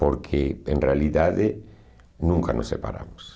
Porque, em realidade, nunca nos separamos.